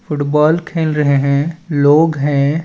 Football खेल रहे है लोग है।